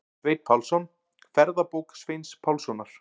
Sveinn Pálsson: Ferðabók Sveins Pálssonar.